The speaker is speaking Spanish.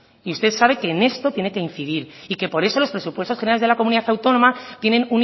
y usted sabe que en esto tiene que incidir y que por eso los presupuestos generales de la comunidad autónoma tienen